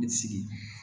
sigi